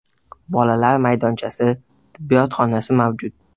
Bolalar maydonchasi, tibbiyot xonasi mavjud.